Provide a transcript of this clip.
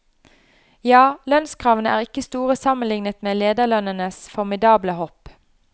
Ja, lønnskravene er ikke store sammenlignet med lederlønnenes formidable hopp.